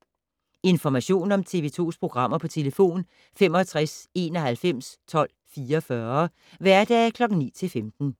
Information om TV 2's programmer: 65 91 12 44, hverdage 9-15.